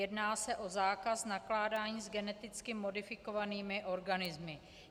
Jedná se o zákaz nakládání s geneticky modifikovanými organismy.